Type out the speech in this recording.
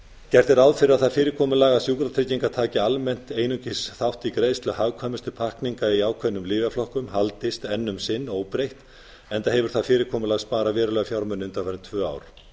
gert er ráð fyrir að það fyrirkomulag sjúkratrygginga taki almennt einungis þátt í greiðslu hagkvæmustu pakkninga í ákveðnu lyfjaflokkum haldist enn um sinn óbreytt enda hefur það fyrirkomulag sparað verulega fjármuni undanfarin tvö ár